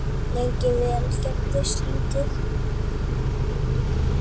Lengi vel gerðist lítið.